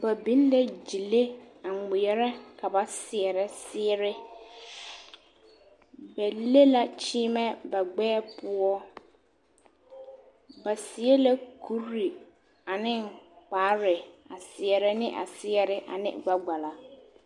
Ba biŋ la gyile a ŋmeɛrɛ ka ba seɛrɛ seɛre, ba le la kyeemɛ ba gbɛɛ poɔ, ba seɛ la kuri ane kpare a seɛrɛ ne a seɛre ane gbɛkpala.